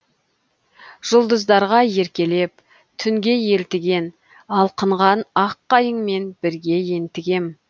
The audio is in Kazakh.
жұлдыздарға еркелеп түнге елтіген алқынған ақ қайыңмен бірге ентігем